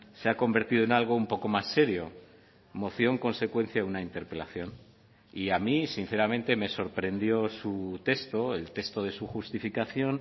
se ha convertido en algo un poco más serio moción consecuencia de una interpelación y a mí sinceramente me sorprendió su texto el texto de su justificación